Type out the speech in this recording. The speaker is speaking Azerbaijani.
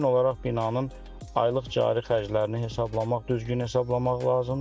İlkin olaraq binanın aylıq cari xərclərini hesablamaq, düzgün hesablamaq lazımdır.